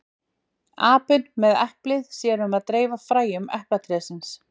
apinn með eplið sér um að dreifa fræjum eplatrésins